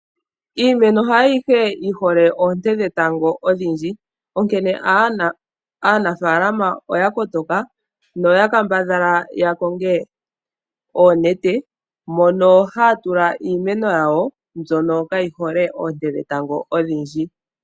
Iimeno haayihe yihole oonte dhetango odhindji. Onkene aanafalama oya kotoka noya kambadhala ya konge oonete mono haya tula iimeno yawo mbyono kayi hole oonte dhetango odhindji.